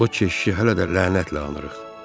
O keşişi hələ də lənətlə anırıq.